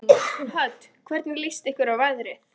Hödd: Hvernig líst ykkur á veðrið?